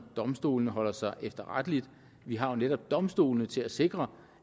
domstolene holder sig efterretteligt vi har jo netop domstolene til at sikre